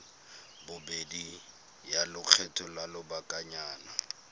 bobedi ya lekgetho la lobakanyana